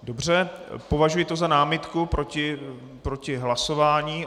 Dobře, považuji to za námitku proti hlasování.